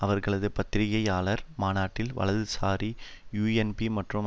அவர்களது பத்திரிகையாளர் மாநாட்டில் வலதுசாரி யூஎன்பி மற்றும்